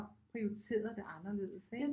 Prioriteret det anderledes ikke